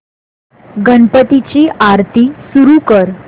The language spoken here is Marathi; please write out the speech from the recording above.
गणपती ची आरती सुरू कर